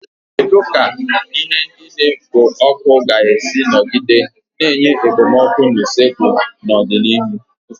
Kedu ka ihe ndị na-ekpo ọkụ ga-esi nọgide na-enye okpomọkụ na usekwu n'ọdịnihu?